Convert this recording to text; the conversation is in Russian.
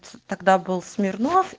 тогда был смирнов